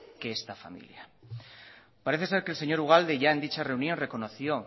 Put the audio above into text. que esta familia parece ser que el señor ugalde ya en dicha reunión reconoció